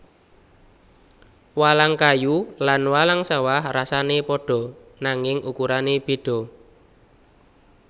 Walang kayu lan walang sawah rasané pada nanging ukurané beda